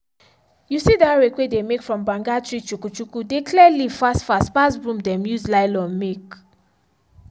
you see that rake way dey make from banga tree chukuchuku dey clear leaf fast fast pass broom dem use nylon make.